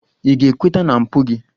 Ị ga-ekweta na mpụ gị!